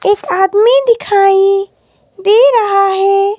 एक आदमी दिखाई दे रहा है।